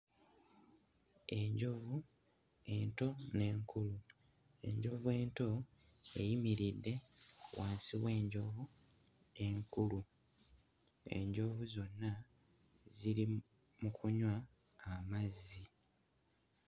Enjovu ento n'enkulu, enjovu ento eyimiridde wansi w'enjovu enkulu, enjovu zonna ziri mu kunywa amazzi.